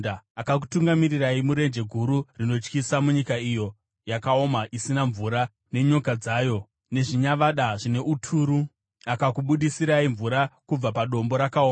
Akakutungamirirai murenje guru rinotyisa, munyika iyo yakaoma isina mvura, nenyoka dzayo nezvinyavada zvine uturu. Akakubudisirai mvura kubva padombo rakaoma.